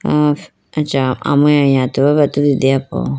ameya yatewaya bi atudu deya po.